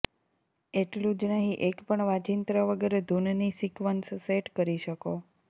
એટલું જ નહીં એક પણ વાંજિત્ર વગર ધુનની સિકવન્સ સેટ કરી શકો